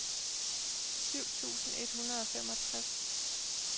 syv tusind et hundrede og femogtres